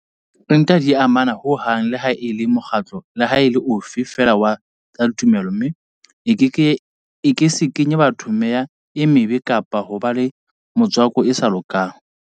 Ente ha di a amana ho hang leha e le mokgatlo leha e le ofe feela wa tsa tumelo mme e ke se kenye batho meya e mebe kapa hoba le metswako e sa lokang.